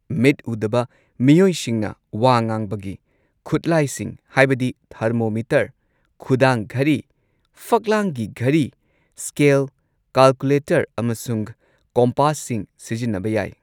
ꯃꯤꯠ ꯎꯗꯕ ꯃꯤꯑꯣꯏꯁꯤꯡꯅ ꯋꯥ ꯉꯥꯡꯕꯒꯤ ꯈꯨꯠꯂꯥꯢꯁꯤꯡ ꯍꯥꯏꯕꯗꯤ ꯊꯔꯃꯣꯃꯤꯇꯔ, ꯈꯨꯗꯥꯡ ꯘꯔꯤ, ꯐꯛꯂꯥꯡꯒꯤ ꯘꯔꯤ, ꯁ꯭ꯀꯦꯜ, ꯀꯥꯜꯀꯨꯂꯦꯇꯔ ꯑꯃꯁꯨꯡ ꯀꯣꯝꯄꯥꯁꯁꯤꯡ ꯁꯤꯖꯤꯟꯅꯕ ꯌꯥꯏ꯫